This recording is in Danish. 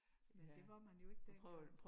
Men det var man jo ikke dengang